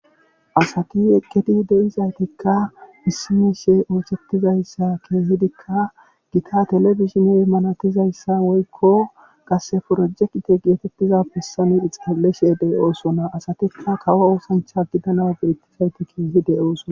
Asati eqqidi de'izaytikka issioy ikka telebizhine daniza miisha qase project geetetiza bessan de'osona asatikka kawo oosancha gidanaw dada'osona keehi de'oosona.